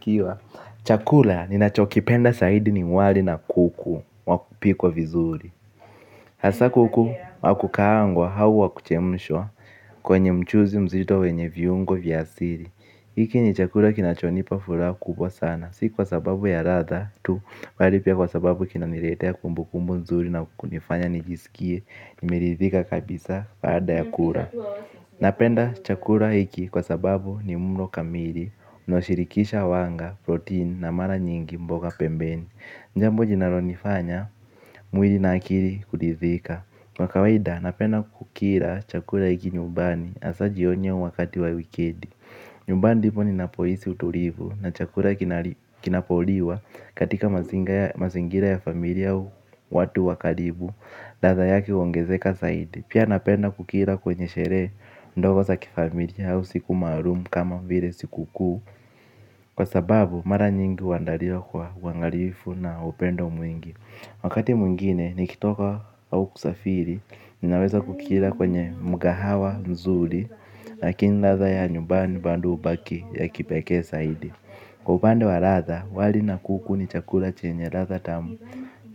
Kiwa, chakula ninachokipenda zaidi ni wali na kuku wa kupikwa vizuri. Hasa kuku wa kukaangwa au wa kuchemshwa kwenye mchuzi mzito wenye viungo vya asili hiki ni chakula kinachonipa furaha kubwa sana. Si kwa sababu ya latha tu, bali pia kwa sababu kinaniletea kumbukumbu nzuri na kunifanya nijisikie nimerithika kabisa baada ya kula. Napenda chakula hiki kwa sababu ni mlo kamili. Unaoshirikisha wanga, protein na mara nyingi mboga pembeni jambo linalonifanya, mwili na akili kuridhika. Kwa kawaida, napenda kukila chakula hiki nyubani Asa jioni au wakati wa wikendi. Nyumbani ndipo ninapohisi utulivu na chakula kinapoliwa katika mazingira ya familia watu wa karibu. Ladha yake uongezeka zaidi. Pia napenda kukila kwenye sherehe ndogo za kifamilia au siku maalumu kama vile siku kuu. Kwa sababu mara nyingi uandaliwa kwa uangalifu na upendo mwingi. Wakati mwingine, nikitoka au kusafiri, ninaweza kukila kwenye mkahawa nzuri. Lakini latha ya nyubani bado hubaki ya kipeke zaidi. Kwa upande wa latha, wali na kuku ni chakula chenye latha tamu